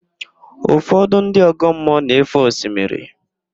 Ụfọdụ ndị ọgọmmụọ na-éfè osimiri.